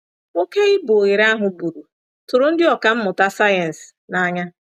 Oké ibu oghere ahụ buru tụrụ ndị ọkà mmụta sayensị nanya.